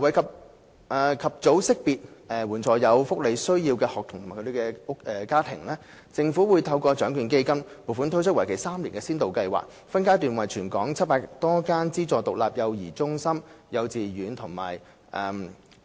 為及早識別及援助有福利需要的學童及其家庭，政府會透過獎券基金撥款推出為期3年的先導計劃，分階段為全港700多間資助獨立幼兒中心、幼稚園及